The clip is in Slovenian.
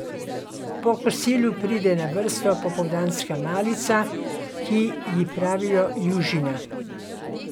Po kosilu pride na vrsto popoldanska malica, ki ji pravijo južina.